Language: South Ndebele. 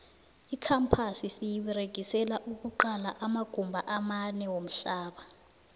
icampasi siyiberegisela ukuqala amagumba amanewamhlaba